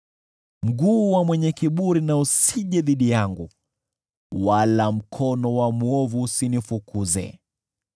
Mguu wa mwenye kiburi usije dhidi yangu, wala mkono wa mwovu usinifukuze.